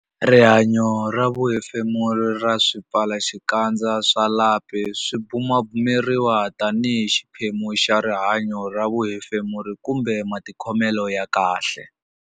Rihanyo ra vuhefemuri ra swipfalaxikandza swa lapi Swipfalaxikandza swa lapi swi bumabumeriwa tanihi xiphemu xa rihanyo ra vuhefemuri kumbe matikhomelo ya kahle.